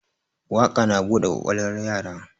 Waƙa na bude kwakwalwar yara